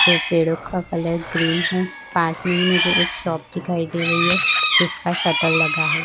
जो पेड़ो का कलर ग्रीन है पास में ही मुझे एक शॉप दिखाई दे रही है जिसका शटर लगा है।